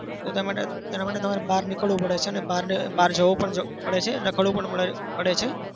તો તે માટે તેના માટે તમારે બહાર નીકળવું પડે છે અને બહારને બહાર જવું પણ પડે છે. રખડવું પણ પડે પડે છે.